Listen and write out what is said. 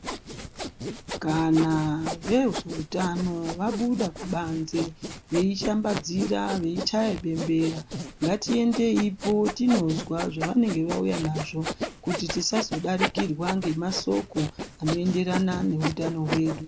Kana veutano vabuda kubanze veishambadzira veichaye bembera ngatiendeyi poo tinozwa zvavanenge vauya nazvo kuti tisazodarikirwa nemasoko anoenderana neutano wedu.